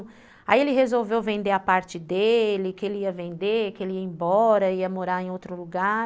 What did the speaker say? Aí ele resolveu vender a parte dele, que ele ia vender, que ele ia embora, ia morar em outro lugar.